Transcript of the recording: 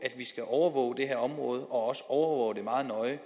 skal overvåge det her område og også overvåge det meget nøje